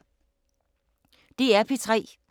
DR P3